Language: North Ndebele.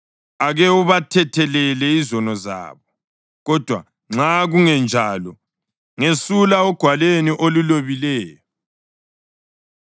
Ake ubathethelele izono zabo kodwa nxa kungenjalo, ngesula ogwalweni olulobileyo.”